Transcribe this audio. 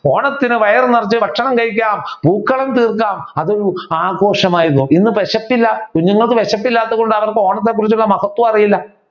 ഓണത്തിന് വയറു നിറച്ചു ഭക്ഷണം കഴിക്കാം പൂക്കളം തീർക്കാം ആഘോഷമായിരുന്നു. ഇന്ന് വിശപ്പില്ല കുഞ്ഞുങ്ങൾക്ക് വിശപ്പില്ലാത്തത്കൊണ്ട് അവർക്ക് ഓണത്തെ കുറിച്ചുള്ള മഹത്വം അറിയില്ല